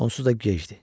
Onsuz da gecdir.